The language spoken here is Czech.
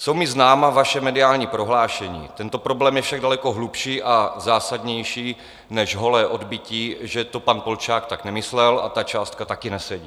Jsou mi známa vaše mediální prohlášení, tento problém je však daleko hlubší a zásadnější než holé odbytí, že to pan Polčák tak nemyslel a ta částka taky nesedí.